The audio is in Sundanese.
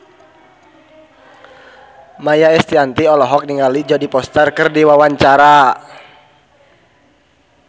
Maia Estianty olohok ningali Jodie Foster keur diwawancara